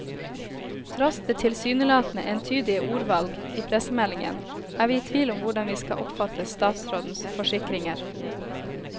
Tross det tilsynelatende entydige ordvalg i pressemeldingen, er vi i tvil om hvordan vi skal oppfatte statsrådens forsikringer.